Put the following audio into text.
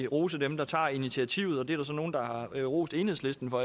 rose dem der tager initiativet og det er der så nogen der har rost enhedslisten for